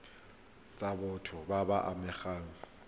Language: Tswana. tsa batho ba ba amegang